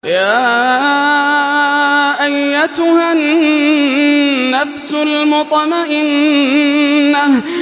يَا أَيَّتُهَا النَّفْسُ الْمُطْمَئِنَّةُ